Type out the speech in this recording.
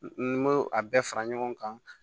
N m'o a bɛɛ fara ɲɔgɔn kan